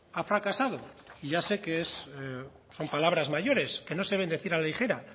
ha fracasado y ya sé que son palabras mayores que no se deben decir a la ligera